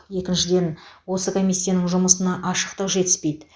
екіншіден осы комиссияның жұмысына ашықтық жетіспейді